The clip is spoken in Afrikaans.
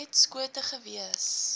net skote gewees